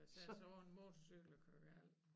Eller sætte sig op på en motorcykel og køre galt